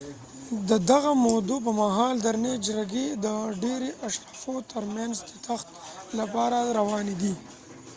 د دغه مودو پر مهال درنې جګړې د ډیری اشرافو تر مینځ د تخت لپاره روانې وي